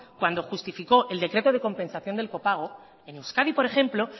cuando justificó el decreto de compensación del copago en euskadi por ejemplo